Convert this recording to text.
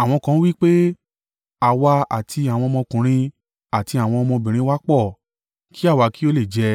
Àwọn kan ń wí pé, “Àwa àti àwọn ọmọkùnrin àti àwọn ọmọbìnrin wa pọ̀; kí àwa kí ó le è jẹ,